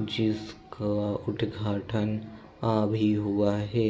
जिसका उद्घाटन अभी हुआ है